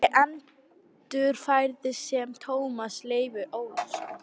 Ég endurfæðist sem Tómas Leifur Ólafsson.